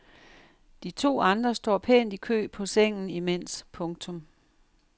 De to andre står pænt i kø på sengen imens. punktum